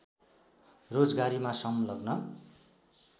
रोजगारीमा संलग्न